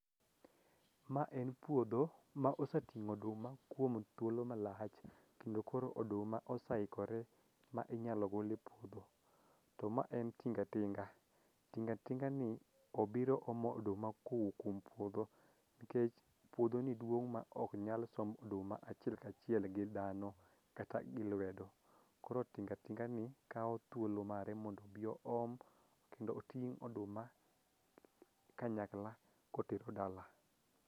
Ma en puodho ma oseting'o oduma kuom thuolo malach kendo koro oduma osaikore ma inyalo gol e puodho, to ma en tingatinga tingatingani obiro omo oduma kowuok kuom puodho nikech puodhoni duong' ma oknyal somb oduma achiel kachiel gi dhano kata gi lwedo koro tingatinga ni kawo thuolo mare mondo obi oom kendo oting' oduma kanyakla kotero dala.